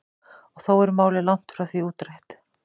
Og þó er málið langt frá því útrætt.